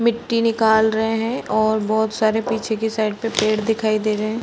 मिट्टी निकाल रहे हैं और बहोत सारे पीछे की साइड पेड़ दिखाई दे रहे हैं।